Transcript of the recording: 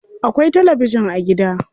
Akwai tabijin a gida.